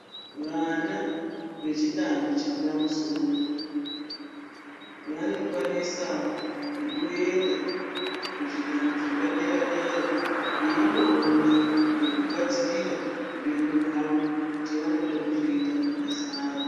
Vana vechidanho chepamusoro, vanokwanisawo kumboenda kuzvidanho zvepadera-dera veindoona, nekugadzirira upenyu hwavo kuti vanoda kuzoita mabasa ari.